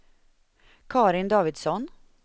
Carin Davidsson